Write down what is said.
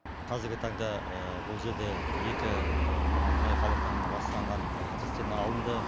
қазіргі таңда бұл жерде екі мұнай қалдықтарымен ластанған цистерна алынды